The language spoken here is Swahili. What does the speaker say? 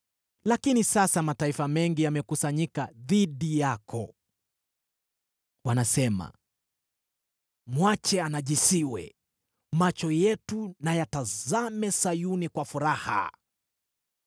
Lakini sasa mataifa mengi yamekusanyika dhidi yako. Wanasema, “Mwache anajisiwe, macho yetu na yatazame Sayuni kwa furaha!”